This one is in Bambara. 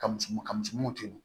Ka muso ka musomanu to yen